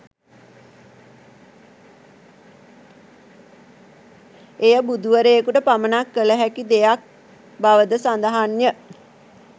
එය බුදු වරයකුට පමණක් කළ හැකි දෙයක් බව ද සඳහන්ය